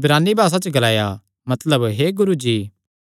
इब्रानी भासा च ग्लाया मतलब हे गुरू जी